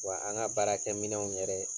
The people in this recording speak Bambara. Wa an ŋa baarakɛ minɛnw yɛrɛ